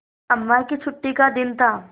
अम्मा की छुट्टी का दिन था